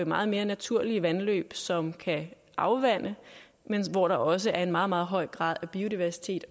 meget mere naturlige vandløb som kan afvande og hvor der også er en meget meget høj grad af biodiversitet